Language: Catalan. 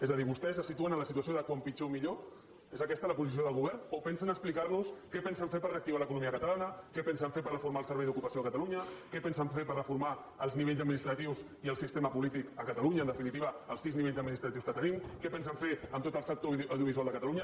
és a dir vostès se situen en la situació de quan pitjor millor és aquesta la posició del govern o pensen explicar nos què pensen fer per reactivar l’economia catalana què pensen fer per reformar el servei d’ocupació de catalunya què pensen fer per reformar els nivells administratius i el sistema polític a catalunya en definitiva els sis nivells administratius que tenim què pensen fer amb tot el sector audiovisual de catalunya